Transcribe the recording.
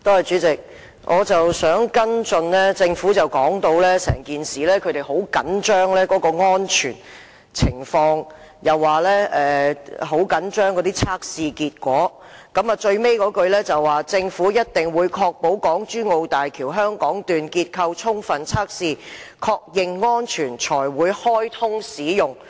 主席，我想跟進一下，政府說他們很着緊安全情況，又說很着緊測試結果，最後一句是，"政府一定會確保港珠澳大橋香港段結構充分測試，確認安全，才會開通使用"。